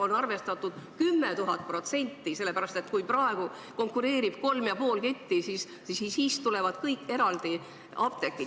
On arvestatud 10 000% – sellepärast et kui praegu konkureerivad kolm ja pool ketti, siis nüüd tulevad kõik eraldi apteegid.